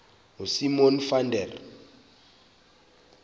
ngosimon van der